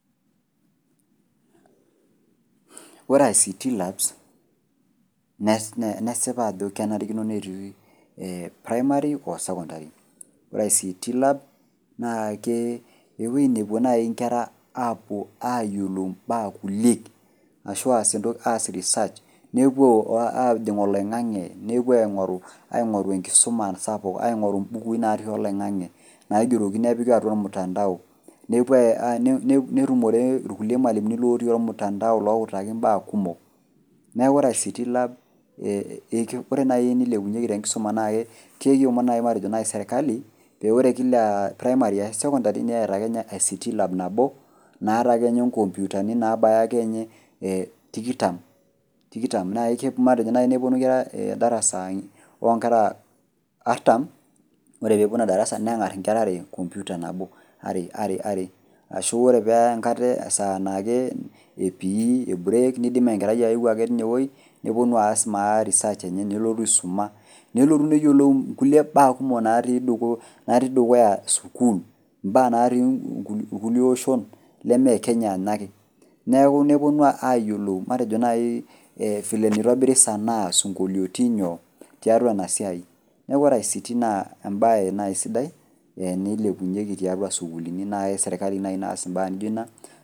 Ore ICT labs nesipa ajo kenarikino netii ee primary o sokondary l. Ore ICT lab naakee ewuei nepuo nai nkera apuo aayiolou imbaa kulie ashuu aas entoki aas risaach, nepuo ajing' oloing'ang'e nepuo aing'oru, aing'oru enkisuma sapuk aing'oru imbukui natii oloing'ang'e naigeroki nepiki atua olmutandao nepuo ai, netumore ilkulie malimuni lotii olmutandao looutaki imbaa kumok. Neaku ore ICT lab ee ore nai eneikepunyeki tenkisoma nake kekiomon naji matejo nai serkali pee ore kila primary ashu secondary neeta ake ninye ICT lab nabo naata akeninye inkompyutani naabayainye ee tikitam. Nake matejo nai nepuonu inkera  darasa oonkera artam , ore peepuonu ina darasa neng'arr inkera are  kompyuta nabo are are ashu ore paa enkata esaa naakee epii eburek neidim enkerai aeu ake inewuei nepuonu aas maa research enye nelotu aisuma nelotu neyiolou nkulie baa kumok naatii dukuya sukul, imbaa naatii ilkulie oshon lemee Kenya nake. Neaku nepuonu aayiolou matejo nai ee vile neitobiri sanaa sinkoliotin nyoo tiatua inasiai. Neaku ore ICT naa embaye nai sidai eneilepunyeki tiatua sukulini nai eserkali nai naas imbaa nijo ina.